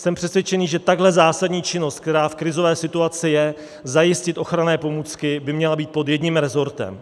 Jsem přesvědčen, že tahle zásadní činnost, která v krizové situace je, zajistit ochranné pomůcky, by měla být pod jedním rezortem.